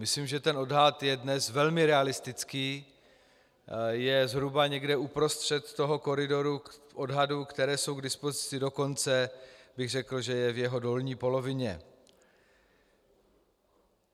Myslím, že ten odhad je dnes velmi realistický, je zhruba někde uprostřed toho koridoru odhadů, které jsou k dispozici, dokonce bych řekl, že je v jeho dolní polovině.